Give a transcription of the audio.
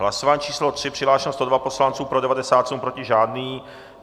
Hlasování číslo 3, přihlášeno 102 poslanců, pro 97, proti žádný.